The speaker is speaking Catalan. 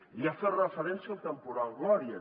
i ha fet referència al temporal gloria